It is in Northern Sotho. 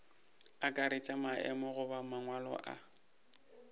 akaretša maemo goba mangwalo a